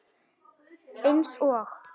Eins og?